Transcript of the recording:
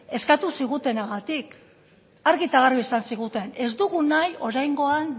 eskatuko zigutenagatik argi eta garbi esan ziguten ez dugu nahi oraingoan